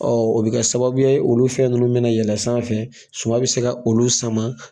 o bi kɛ sababuya ye olu fɛn nunnu mina yɛlɛn sanfɛ suma bi se ka olu sama